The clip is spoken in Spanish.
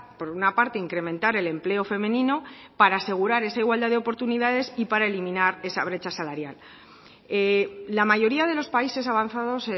por una parte incrementar el empleo femenino para asegurar esa igualdad de oportunidades y para eliminar esa brecha salarial la mayoría de los países avanzados